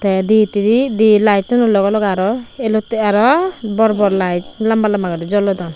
teh di hiteh di lightono loghe loghe aro elote aro bor bor light lamba lamba guri jolodon.